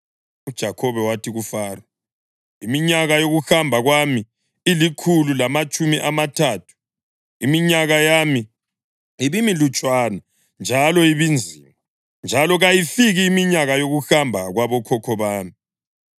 UJakhobe wathi kuFaro, “Iminyaka yokuhamba kwami ilikhulu lamatshumi amathathu. Iminyaka yami ibimilutshwana njalo ibinzima, njalo kayifiki iminyaka yokuhamba kwabokhokho bami.”